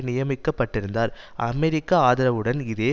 நியமிக்க பட்டிருந்தார் அமெரிக்க ஆதரவுடன் இதே